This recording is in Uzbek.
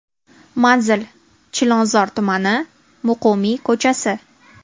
Manzil: Chilonzor tumani, Muqimiy ko‘chasi.